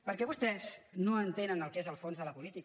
perquè vostès no entenen el que és el fons de la política